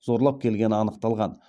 зорлап келгені анықталған